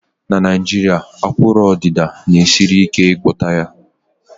na Naijiria, akụrụ odida na-esiri ike ịgwọta ya